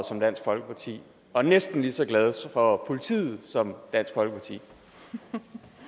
som dansk folkeparti og næsten lige så glad for politiet som dansk folkeparti